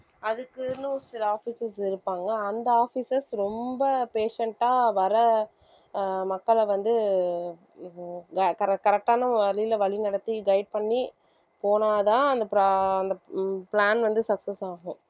அதுக்குன்னு சில officers இருப்பாங்க அந்த officers ரொம்ப patient ஆ வர்ற ஆஹ் மக்களை வந்து வ~ corre~ correct ஆன வழியில வழிநடத்தி guide பண்ணி போனாதான் அந்த pro~ அந்த plan வந்து success ஆகும்